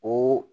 O